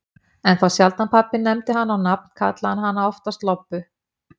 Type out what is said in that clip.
En þá sjaldan pabbi nefndi hana á nafn, kallaði hann hana oftast Lobbu.